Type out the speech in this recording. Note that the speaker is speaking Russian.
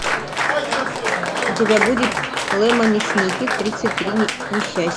у тебя будет лемони сникет тридцать три несчастья